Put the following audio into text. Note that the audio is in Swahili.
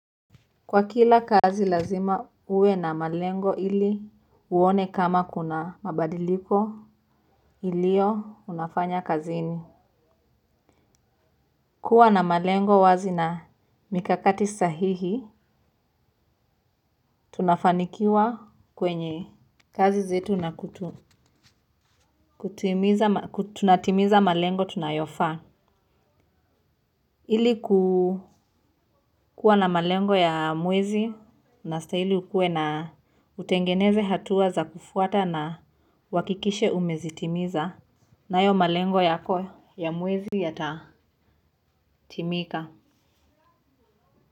Kwa kila kazi lazima uwe na malengo ili uone kama kuna mabadiliko ilio unafanya kazini. Kuwa na malengo wazi na mikakati sahihi tunafanikiwa kwenye kazi zetu na tunatimiza malengo tunayofaa ili kukuwa na malengo ya mwezi una stahili ukue na utengeneze hatua za kufuata na uhakikishe umezitimiza. Nayo malengo yako ya mwezi yata timika.